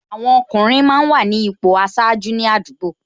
Àwọn ọkùnrin máa ń wà ní ipò aṣáájú ní àdúgbò